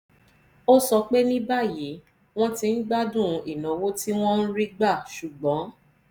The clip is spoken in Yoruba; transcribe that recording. ó sọ pé ní báyìí wọ́n ti ń gbádùn ìnáwó tí wọ́n ń rí gbà ṣùgbọ́n